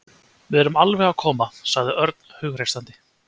Við erum alveg að koma sagði Örn hughreystandi.